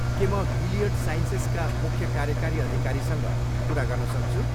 के म गिलियड साइन्सेसका मुख्य कार्यकारी अधिकारीसँग कुरा गर्न सक्छु?